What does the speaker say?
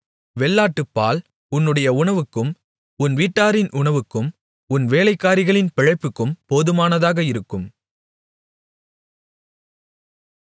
வெள்ளாட்டுப்பால் உன்னுடைய உணவுக்கும் உன் வீட்டாரின் உணவுக்கும் உன் வேலைக்காரிகளின் பிழைப்புக்கும் போதுமானதாக இருக்கும்